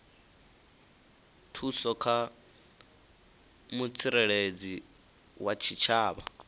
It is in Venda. thuso kha mutsireledzi wa tshitshavha